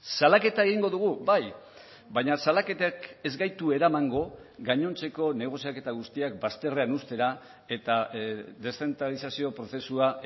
salaketa egingo dugu bai baina salaketek ez gaitu eramango gainontzeko negoziaketa guztiak bazterrean uztera eta deszentralizazio prozesua